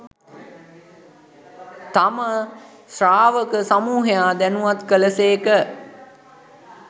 තම ශ්‍රාවක සමූහයා දැනුවත් කළ සේක.